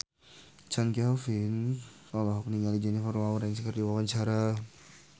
Chand Kelvin olohok ningali Jennifer Lawrence keur diwawancara